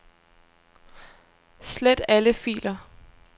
Slet alle filer.